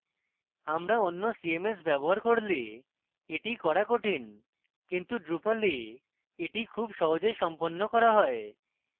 আপনি অন্য cms ব্যবহার করলে এটি করা কঠিন কিন্তু drupal এটি খুব সহজে সম্পন্ন করা হয়